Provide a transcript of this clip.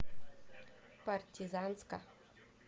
партизанска